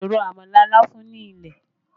A lè ro àmàlà láfún ní ilẹ̀